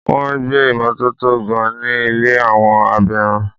Wọ́n gbé ìmotótó ga ní ilé àwọn abirùn.